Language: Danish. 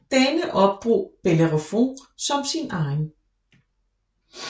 Denne opdrog Bellerofon som sin egen